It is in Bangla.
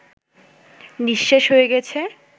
নিঃশেষ হয়ে গেছে